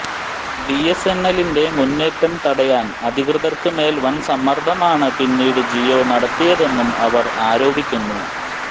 ബിഎസ്എൻഎലിന്റെ മുന്നേറ്റം തടയാൻ അധികൃതർക്ക് മേൽ വൻ സമ്മർദ്ദമാണ് പിന്നീട് ജിയോ നടത്തിയതെന്നും അവർ ആരോപിക്കുന്നു